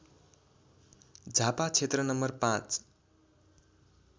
झापा क्षेत्र नम्बर ५